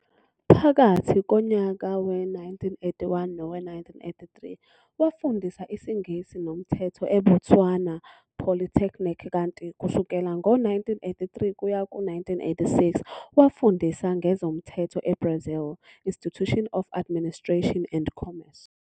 Phakathi konyaka we-1981 nowe-1983 wafundisa isiNgisi noMthetho eBotswana polytechnic kanti kusukela ngo-1983 kuya ku-1986 wafundisa ngezoMthetho eBrazil Institute of Administration and Commerce.